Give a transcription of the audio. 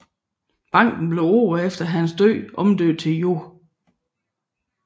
Banken blev året efter hans død omdøbt til Joh